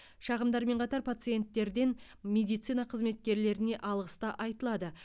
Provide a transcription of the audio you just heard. шағымдармен қатар пациенттерден медицина қызметкерлеріне алғыс та айтылады